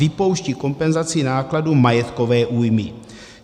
Vypouští kompenzaci nákladů majetkové újmy.